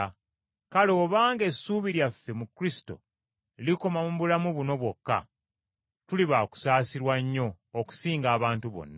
Kale obanga essuubi lyaffe mu Kristo likoma mu bulamu buno bwokka, tuli bakusaasirwa nnyo okusinga abantu bonna.